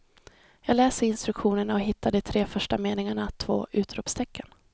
Jag läser instruktionerna och hittar i de tre första meningarna två utropstecken.